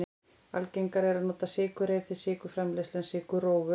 algengara er að nota sykurreyr til sykurframleiðslu en sykurrófur